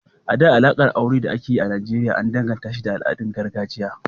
A da, alaƙar aure da ake yi a Nijeriya an danganashi da al’adun gargajiya.